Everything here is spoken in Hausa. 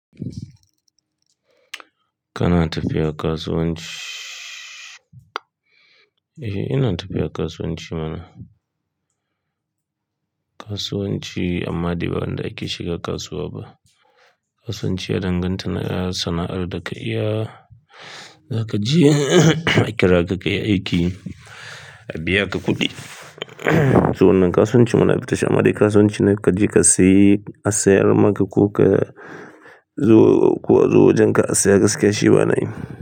Kana tafiya kasuwanci? Eh ina tafiya kasuwanci mana. Kasuwanci amma dai ba wanda ake shiga kasuwa ba. Kasuwanci ya danganta da sana'ar da ka iya, da ka je a kira ka ka yi aiki a biya ka kuɗi. To wannan kasuwanci mana ya fita shi amma dai kasuwanci ne ka je ka sayi, a sayar maka ko ka zo, zuwa wajen ka a saya gaskiya shi ba na yi.